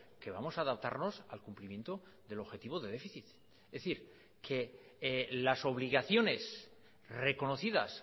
que vamos a adaptarnos al cumplimiento del objetivo de déficit es decir que las obligaciones reconocidas